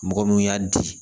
Mɔgɔ min y'a di